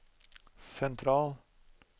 sentral